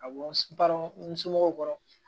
Ka bɔ n balo n somɔgɔw kɔrɔ